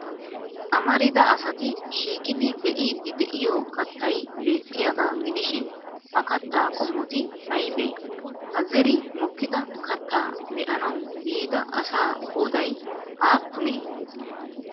Amarida asati shiiqidi be'iiddi de'iyo kattay beettiyaagaa gidishin ha kattaa qommoti aybee? Ha zeri mokkida katta be'anawu yiida asaa qooday aappunee?